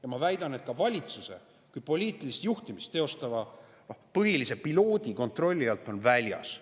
Ja ma väidan, et see on ka valitsuse kui poliitilist juhtimist teostava põhilise piloodi kontrolli alt väljas.